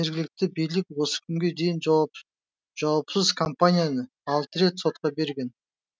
жергілікті билік осы күнге дейін жауапсыз компанияны алты рет сотқа берген